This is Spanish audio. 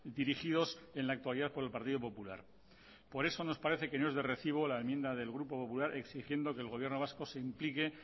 dirigidos en la actualidad por el partido popular por eso nos parece que no es de recibo la enmienda del grupo popular exigiendo que el gobierno vasco se implique